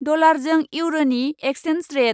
डलारजों इउर'नि एक्चेन्स रेट।